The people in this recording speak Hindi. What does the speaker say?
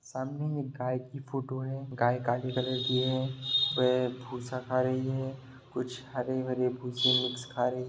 एक काली गाय बेड़ा में घास खा रही है।